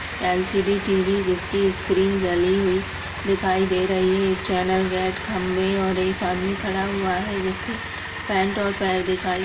LCD. TV. जिसकी screen जली हुई दिखाई दे रही है। एक चैनल गेट खम्भे और एक आदमी खड़ा हुआ है जिसके पेन्ट और पैर दिखाई --